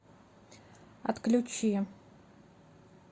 отключи